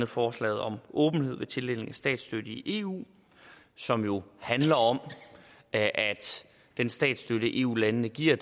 forslaget om åbenhed ved tildeling af statsstøtte i eu som jo handler om at den statsstøtte eu landene giver